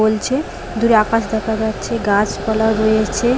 বলছে দূরে আকাশ দেখা যাচ্ছে গাছপালা রয়েছে।